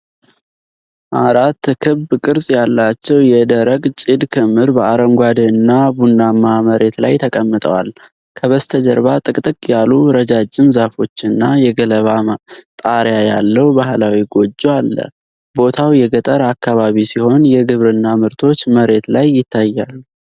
አራት ክብ ቅርጽ ያላቸው የደረቅ ጭድ ክምር በአረንጓዴ እና ቡናማ መሬት ላይ ተቀምጠዋል። ከበስተጀርባ ጥቅጥቅ ያሉ ረጃጅም ዛፎች እና የገለባ ጣሪያ ያለው ባህላዊ ጎጆ አለ። ቦታው የገጠር አካባቢ ሲሆን የግብርና ምርቶች መሬት ላይ ይታያሉ።